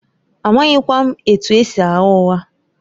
Amaghịkwa m etu esi agha ụgha